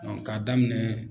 k'a daminɛ.